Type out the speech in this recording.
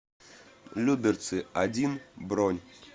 люберцы один бронь